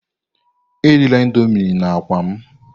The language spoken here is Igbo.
Erila indomii na akwa m!